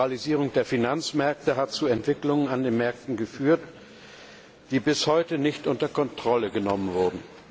Die Liberalisierung der Finanzmärkte hat zu Entwicklungen an den Märkten geführt, die bis heute nicht unter Kontrolle genommen wurden.